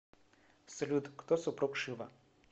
салют кто супруг шива